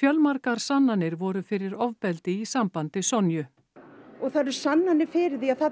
fjölmargar sannanir voru fyrir ofbeldi í sambandi Sonju og það eru sannanir fyrir því að þarna